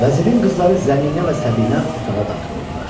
Vəzirin qızları Zəminə və Səbinə otağa daxil oldular.